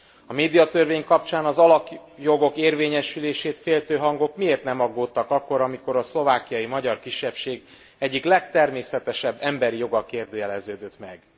A médiatörvény kapcsán az alapjogok érvényesülését féltő hangok miért nem aggódtak akkor, amikor a szlovákiai magyar kisebbség egyik legtermészetesebb emberi joga kérdőjeleződött meg?